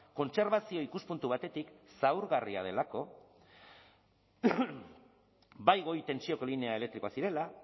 kontserbazio ikuspuntu batetik zaurgarria delako bai goi tentsioko linea elektrikoak zirela